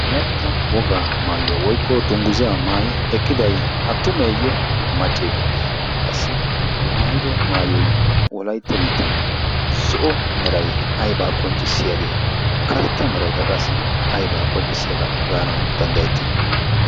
wolaytta wogaa maayuwaa woykko dungguzaa maayi eqqidai attumeeyye maccee qassi maayido maayoi wolaitta biittan zo'o mirai aibaa qonccissiyaagee karetta miraikka qassi aibaa qonccissiyaagaa gaanau danddayettii?